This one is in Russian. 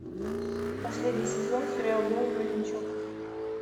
последний сезон сериал белый воротничок